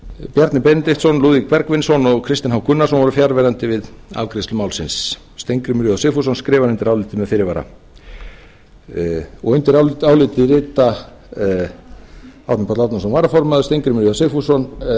bjarni benediktsson lúðvík bergvinsson og kristinn h gunnarsson voru fjarverandi við afgreiðslu málsins steingrímur j sigfússon skrifar undir álit þetta með fyrirvara undir álitið rita árni páll árnason varaformaður steingrímur j sigfússon með fyrirvara